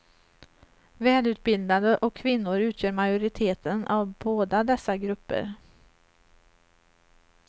Välutbildade och kvinnor utgör majoriteten av båda dessa grupper.